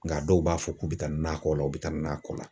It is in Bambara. Nka dɔw b'a fɔ k'u bɛ taa nakɔ la u bɛ taa nakɔ la.